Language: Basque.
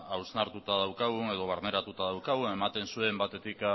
hausnartuta daukagun edo barneratuta daukagun ematen zuen batetik